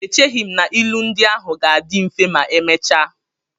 Echeghị m na ilu ndị ahụ ga-adị mfe ma emechaa.